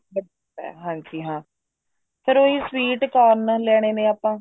ਹਾਂਜੀ ਹਾਂ ਫ਼ੇਰ ਉਹ sweet corn ਲੈਣੇ ਆ ਆਪਾਂ